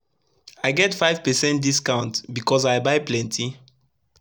i get 5 percent discount becos i buy plenti